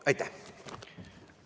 Aitäh!